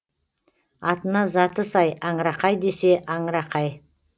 атына заты сай аңырақай десе аңырақай